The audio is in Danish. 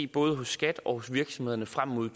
både skat og virksomhederne frem mod